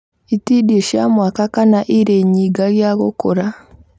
itindiĩ cia mwaka kana ĩrĩ nyingagia gũkũra